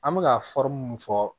An bɛ ka mun fɔ